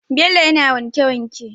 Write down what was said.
Bello yAna wanke wanke